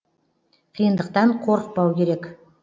қиындықтан қорықпау керек